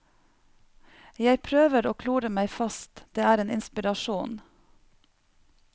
Jeg prøver å klore meg fast, det er en inspirasjon.